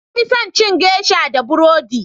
na fi son cin geisha da burodi